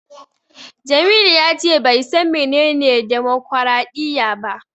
Jamilu ya ce bai san menene demokwaraɗiyya ba.